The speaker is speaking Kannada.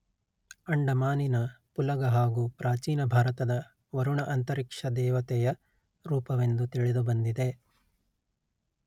ಅಂಡಮಾನಿನ ಪುಲಗ ಹಾಗೂ ಪ್ರಾಚೀನ ಭಾರತದ ವರುಣ ಅಂತರಿಕ್ಷ ದೇವತೆಯ ರೂಪವೆಂದು ತಿಳಿದುಬಂದಿದೆ